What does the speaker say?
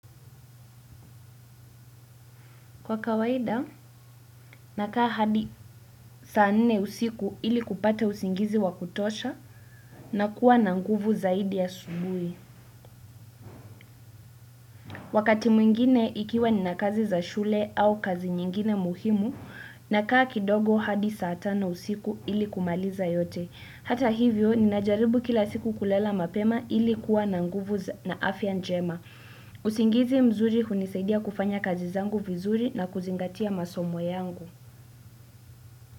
Kwa kawaida, nakaa hadi saa nne usiku ili kupata usingizi wakutosha na kuwa na nguvu zaidi asubuhi. Wakati mwingine ikiwa nina kazi za shule au kazi nyingine muhimu, nakaa kidogo hadi saa tano usiku ili kumaliza yote. Hata hivyo, ninajaribu kila siku kulala mapema ili kuwa na nguvu na afya njema. Usingizi mzuri hunisaidia kufanya kazi zangu vizuri na kuzingatia masomo yangu.